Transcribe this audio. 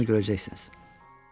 İndi onu görəcəksiniz.